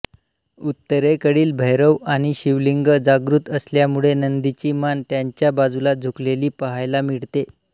उत्तरेकडील भैरव आणि शिवलिंग जागृत असल्यामुळे नंदीची मान त्यांच्या बाजूला झुकलेली पहावया मिळते